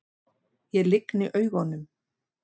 Ég lygni augunum.